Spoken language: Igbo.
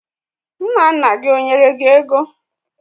Nna nna gi ó nyere gi ego?